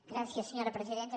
gràcies senyora presidenta